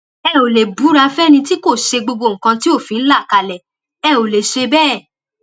ẹ ò lè búra fẹni tí kò ṣe gbogbo nǹkan tí òfin là kalẹ ẹ ò lè ṣe bẹẹ